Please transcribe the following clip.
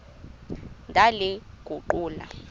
ndaliguqula